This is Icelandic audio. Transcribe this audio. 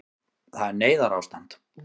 Það er neyðarástand